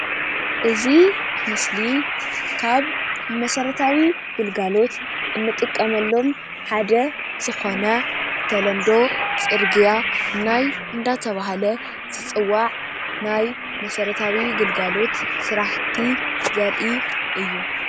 እዚ ምሰሊ ካብ መሰረታዊ ግልጋሎት እንጥቀመሎም ሓደ ዝኮነ ተለምዶ ፅርግያ ናይ እንዳተብሃለ ዝፅዋዕ ናይ መሰረታዊ ግልጋሎት ስራሕቲ ዘርኢ እዩ::